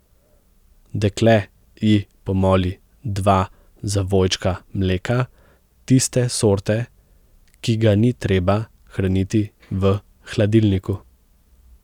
Dekle ji pomoli dva zavojčka mleka tiste sorte, ki ga ni treba hraniti v hladilniku.